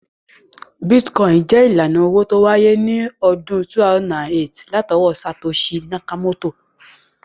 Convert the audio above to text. Bítíkọ́ìnì jẹ́ ìlànà owó tó wáyé ní ọdún 2008 látọwọ́ Satoshi Nakamoto